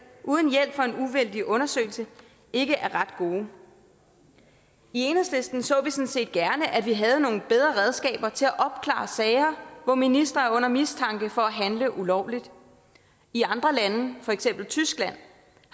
uden hjælp fra en uvildig undersøgelse ikke er ret gode i enhedslisten så vi sådan set gerne at vi havde nogle bedre redskaber til at opklare sager hvor ministre er under mistanke for at handle ulovligt i andre lande for eksempel tyskland